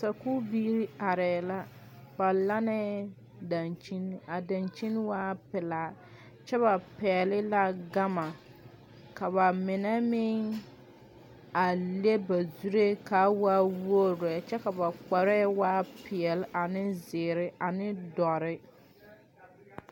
Sakuu biire areɛ la. Ba lanneɛ dankyen. A dankyen waa pulaa kyɛ ba pɛgle la gama. Ka ba mene meŋ a le ba zureɛ kaa waa wogreɛ. Kyɛ ka ba kpareɛ waa piɛle ane ziire ane doure.